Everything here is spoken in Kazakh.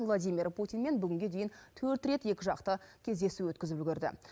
владимир путинмен бүгінге дейін төрт рет екіжақты кездесу өткізіп үлгерді